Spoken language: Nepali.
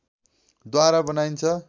द्वारा बनाइन्छ